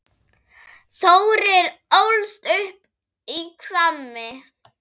Þórir ólst upp í Hvammi.